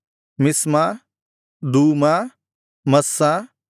ಮಿಷ್ಮಾ ದೂಮಾ ಮಸ್ಸಾ